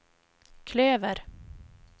klöver